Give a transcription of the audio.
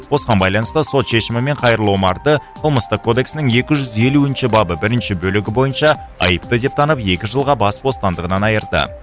осыған байланысты сот шешімімен қайырлы омарды қылмыстық кодексінің екі жүз елуінші бабы бірінші бөлігі бойынша айыпты деп танып екі жылға бас бостандығынан айырды